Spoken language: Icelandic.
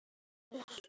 Óttast ei.